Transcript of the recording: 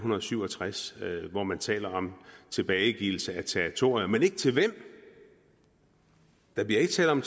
syv og tres hvor man taler om tilbagegivelse af territorier men ikke til hvem der bliver ikke talt om